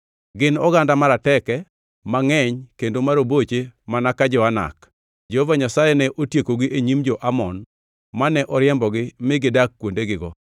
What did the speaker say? Gin oganda marateke, mangʼeny kendo ma roboche mana ka jo-Anak. Jehova Nyasaye ne otiekogi e nyim jo-Amon, mane oriembogi mi gidak kuondegigo.